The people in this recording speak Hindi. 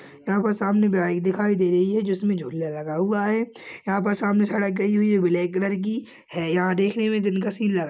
यहां पर सामने बाइक दिखाई दे रही है जिसमें झूले लगा हुआ है यहां पर सामने सड़क गई हुई ब्लैक कलर की है यहां देखने में दिन का सीन लगा --